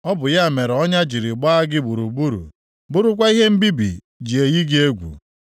Ọ bụ ya mere ọnya jiri gbaa gị gburugburu, bụrụkwa ihe mbibi ji eyi gị egwu.